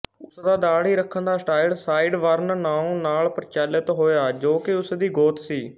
ਉਸਦਾ ਦਾੜ੍ਹੀ ਰੱਖਣ ਦਾ ਸਟਾਈਲ ਸਾਈਡਬਰਨਨਾਉਂ ਨਾਲ ਪ੍ਰਚਲਿਤ ਹੋਇਆ ਜੋ ਕਿ ਉਸਦੀ ਗੋਤ ਸੀ